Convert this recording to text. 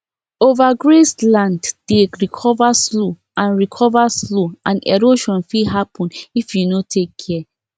overgrazed land dey recover slow and recover slow and erosion fit happen if you no take care